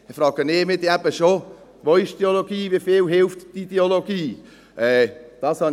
Dann frage ich mich eben schon, wie viel die Ideologie hilft.